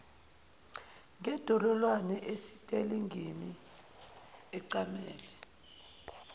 ngendololwane esitelingini ecamele